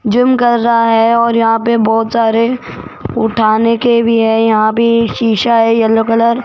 gym कर रहा है और यहां पे बहोत सारे उठाने के भी है यहां भी शीशा है येलो कलर --